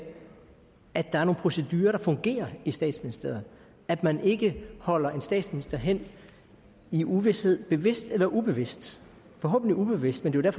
at der er nogle procedurer der fungerer i statsministeriet at man ikke holder en statsminister hen i uvished bevidst eller ubevidst forhåbentlig ubevidst men det er